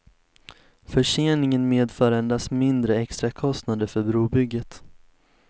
Förseningen medför endast mindre extrakostnader för brobygget.